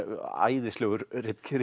æðislegur